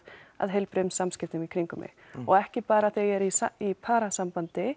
að heilbrigðum samskiptum í kringum mig og ekki bara þegar ég er í í